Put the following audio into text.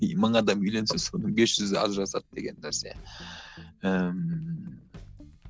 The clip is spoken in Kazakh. и мың адам үйленсе соның бес жүзі ажырасады деген нәрсе ііі